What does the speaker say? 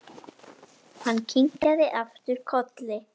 Hann kinkaði aftur kolli.